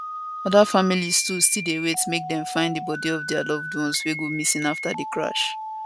oda families too still dey wait make dem find di bodi of dia loved ones wey go missing afta di crash